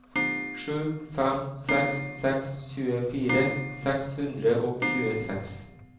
sju fem seks seks tjuefire seks hundre og tjueseks